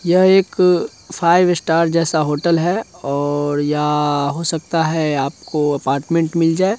यह एक five star का होटल है और या हो सकता है आप को अपार्टमेंट मिल जाए।